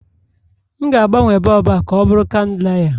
M ga-agbanwe bọlbụ a ka ọ bụrụ chandelier